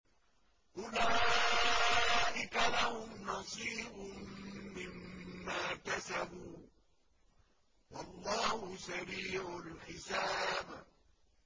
أُولَٰئِكَ لَهُمْ نَصِيبٌ مِّمَّا كَسَبُوا ۚ وَاللَّهُ سَرِيعُ الْحِسَابِ